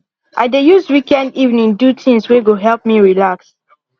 i dey use weekend evening do things wey go help me relax